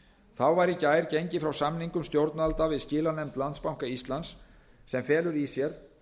þá var í gær gengið frá samningum stjórnvalda við skilanefnd landsbanka íslands sem felur í sér